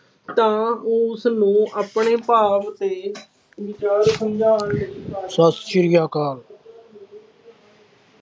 ਤਾਂ ਉਸ ਨੂੰ ਆਪਣੇ ਭਾਵ ਤੇ ਵਿਚਾਰ ਸਮਝਾਉਣ ਲਈ। ਸਤਿ ਸ੍ਰੀ ਅਕਾਲ।